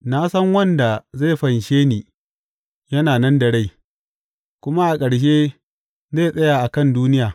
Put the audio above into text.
Na san wanda zai fanshe ni yana nan da rai, kuma a ƙarshe zai tsaya a kan duniya.